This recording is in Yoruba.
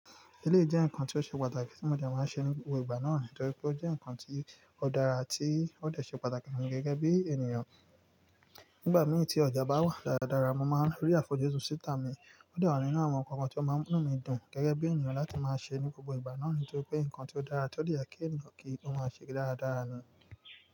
Elé jẹ́ ǹkan tí ó ṣe pàtàkì tí mo jẹ máa ń ṣe ní gbogbo ìgbà náà, nítorí pé ó jẹ́ ǹkan tí ó dára tí ó de ṣe pàtàkì fún mi gẹ́gẹ́ bí ènìyàn. Nígbà mì tí ọjà bá wà dáradára, mo máa ń rí àfojúsùn síta mi. Ó de wa nínú àwọn nǹkan tí ó máa ń mú mi dùn gẹ́gẹ́ bí ènìyàn láti máa ṣe ní gbogbo ìgbà náà, nítorí pé ǹkan tí ó dára, tí ó de yẹ kí ènìyàn kí ó máa ṣe dáradára ni.